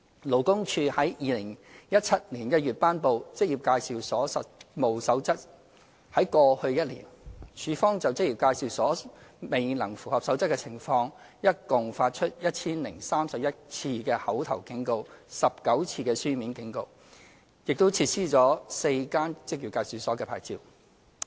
勞工處在2017年1月頒布《守則》，在過去1年，處方就職業介紹所未能符合《守則》的情況，一共發出 1,031 次口頭警告 ，19 次書面警告，亦撤銷了4間職業介紹所的牌照。